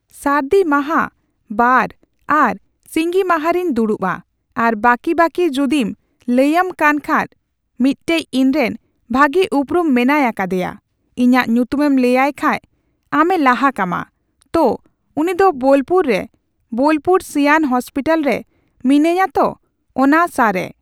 ᱥᱟᱨᱫᱤ ᱢᱟᱦᱟ ᱵᱟᱨ ᱟᱨ ᱥᱤᱸᱜᱤ ᱢᱟᱦᱟᱨᱤᱧ ᱫᱩᱲᱩᱵᱼᱟ ᱾ ᱟᱨ ᱵᱟᱠᱤ, ᱵᱟᱠᱤ ᱡᱩᱫᱤᱢ ᱞᱟᱹᱭᱟᱢ ᱠᱟᱱ ᱠᱷᱟᱡ ᱢᱤᱫᱴᱮᱡ ᱤᱧᱨᱮᱱ ᱵᱷᱟᱜᱤ ᱩᱯᱨᱩᱢ ᱢᱮᱱᱟᱭ ᱟᱠᱟᱫᱮᱭᱟ ᱾ ᱤᱧᱟᱹᱜ ᱧᱩᱛᱩᱢᱮᱢ ᱞᱟᱹᱭᱟᱭ ᱠᱷᱟᱡ ᱟᱢᱮ ᱞᱟᱦᱟ ᱠᱟᱢᱟ ᱾ ᱛᱚ, ᱩᱱᱤ ᱫᱚ ᱵᱳᱞᱯᱩᱨ ᱨᱮ ᱵᱳᱞᱯᱩᱨ ᱥᱤᱭᱟᱱ ᱦᱚᱸᱥᱯᱤᱴᱟᱞ ᱨᱮ ᱢᱤᱱᱟᱹᱧᱟ ᱛᱚ, ᱚᱱᱟ ᱥᱟ ᱨᱮ ᱾